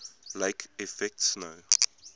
lake effect snow